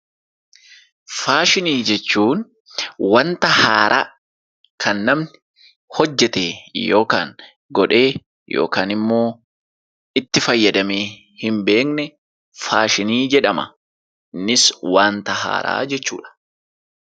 Faashinii jechuun wanta haaraa kan kan namni hojjetee (godhee) yookaan immoo itti fayyadamee hin beekne faashinii jedhama. Innis wanta haaraa jechuu dha.